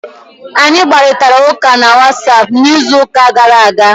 Anyị kparịtara ụka na whatapp n'izuụka gara aga